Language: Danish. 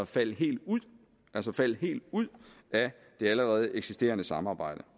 falde helt ud altså falde helt ud af det allerede eksisterende samarbejde